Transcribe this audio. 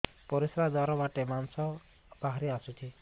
ପରିଶ୍ରା ଦ୍ୱାର ବାଟେ ମାଂସ ବାହାରି ଆସୁଛି